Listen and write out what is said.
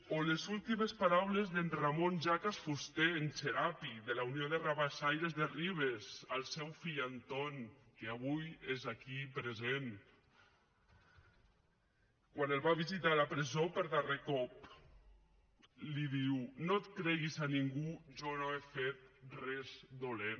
o les últimes paraules d’en ramon jacas fuster en xerapi de la unió de rabassaires de ribes al seu fill anton que avui és aquí present quan el va visitar a la presó per darrer cop li diu no et creguis a ningú jo no he fet res dolent